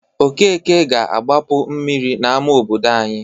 Okeke ga-agbapu mmiri n'ama obodo anyị.